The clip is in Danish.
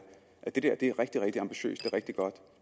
at det der er rigtig ambitiøst det er rigtig godt